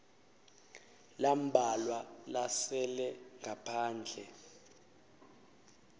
lambalwa lasele ngaphandle